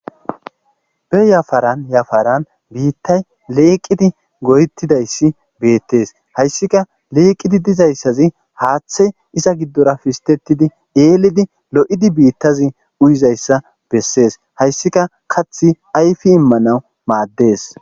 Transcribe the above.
be yafaran yafaran biittay leeqidi goyettidayssi beettes hayssika leeqidi dizayssazi haaththe iza giddora fistetidi eelidi lo7idi biittazi uyizayssa bessees hayssika kath ayfi immanawu maaddees